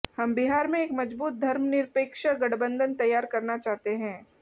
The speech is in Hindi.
हम बिहार में एक मजबूत धर्मनिरपेक्ष गठबंधन तैयार करना चाहते हैं